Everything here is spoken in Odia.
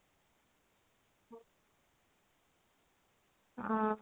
ହଁ